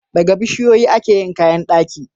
Daga bishiyoyi ake yin kayan daki.